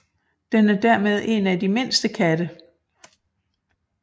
Den er dermed en af de mindste katte